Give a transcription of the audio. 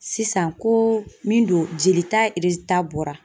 Sisan, ko min don, jelita bɔra